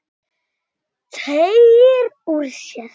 Teygir úr sér.